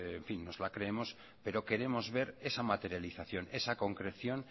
nos las creemos pero queremos ver esa materialización esa concreción